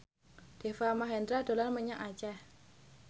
Deva Mahendra dolan menyang Aceh